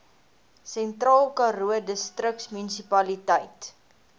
sentraalkaroo distriksmunisipaliteit